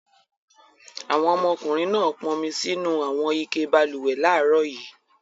Àwọn ọmọkùnrin náà pọnmi sínú àwọn ike balùwẹ̀ láàárọ̀ yìí.